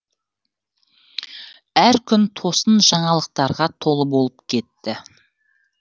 әр күн тосын жаңалықтарға толы болып кетті